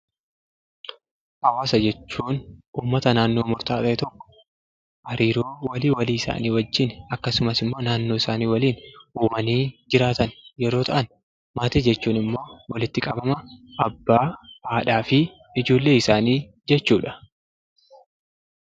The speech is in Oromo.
Hawaasa jechuun uummata naannoo murtaawaa tokkoo hariiroo walii walii isaanii wajjin akkasumas naanoo isaanii waliin uumanii jiraatan yeroo ta'an, maatii jechuun immoo walitti qabama haadha abbaa fi ijoollee isaanii jechuudha.